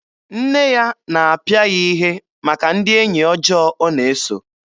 Nne ya na-apịa ya ihe maka ndị enyi ọjọọ ọ na-eso.